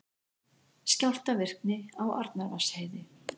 Skjálftavirkni á Arnarvatnsheiði